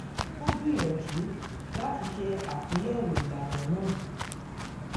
ó gbìyànjú láti ṣe àtúnyẹ̀wò ìlànà náà